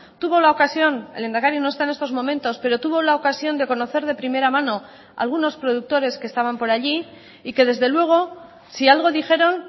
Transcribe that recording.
tuvo la ocasión el lehendakari no está en estos momentos pero tuvo la ocasión de conocer de primera mano a algunos productores que estaban por allí y que desde luego si algo dijeron